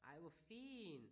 Ej hvor fint